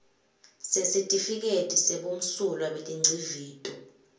sesitifiketi sebumsulwa betingcivito